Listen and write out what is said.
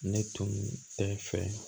Ne tun tɛ fɛ